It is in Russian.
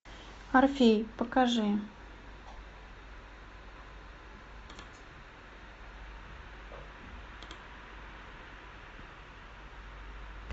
орфей покажи